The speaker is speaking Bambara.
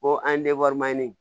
Ko an ye